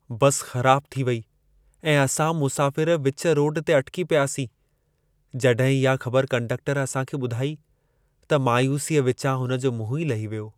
बस ख़राब थी वेई ऐं असां मुसाफिर विच रोड ते अटिकी पियासीं, जॾहिं इहा ख़बर कंडक्टर असां खे ॿुधाई त मायूसीअ विचां हुन जो मुंहुं ई लही वियो।